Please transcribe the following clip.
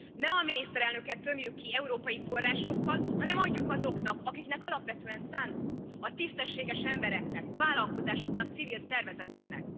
Ne a miniszterelnököt tömjük ki európai forrásokkal, hanem adjuk azoknak, akiknek alapvetően szántuk a tisztességes embereknek, vállalkozásoknak, civil szervezeteknek!